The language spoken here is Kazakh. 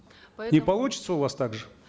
поэтому не получится у вас так же